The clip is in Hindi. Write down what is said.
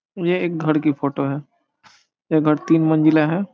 यह एक घर की फोटो है यह घर तीन मंजिला है ।